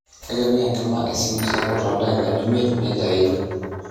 'Ekipik enkima esimu sapuk toldaikani miet,''nejia ejo.